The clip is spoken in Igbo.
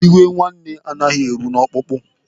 Iwe nwanne anaghị eru n'ọkpụkpụ.